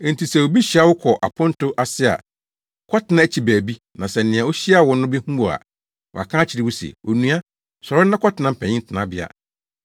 Enti sɛ obi hyia wo kɔ aponto ase a, kɔtena akyi baabi na sɛ nea ohyiaa wo no behu wo a, waka akyerɛ wo se, ‘Onua, sɔre na kɔtena mpanyin tenabea.’